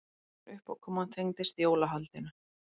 Hin uppákoman tengdist jólahaldinu.